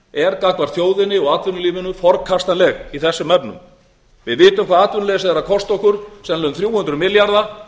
er gagnvart þjóðinni og atvinnulífinu forkastanleg í þessum efnum við vitum hvað atvinnuleysið er að kosta okkur sennilega um þrjú hundruð milljarða